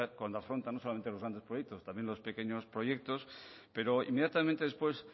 afronta no solamente los grandes proyectos también los pequeños proyectos pero inmediatamente después